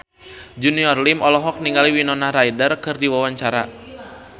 Junior Liem olohok ningali Winona Ryder keur diwawancara